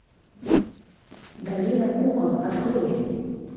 долина кукол открой